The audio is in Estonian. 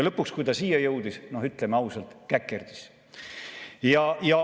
Lõpuks, kui ta siia jõudis, siis noh, ütleme ausalt: käkerdis.